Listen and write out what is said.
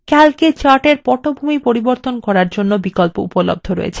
এছাড়াও calc এ chart এর পটভূমি পরিবর্তন করার জন্য বিকল্প উপলব্ধ রয়েছে